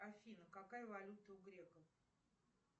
афина какая валюта у греков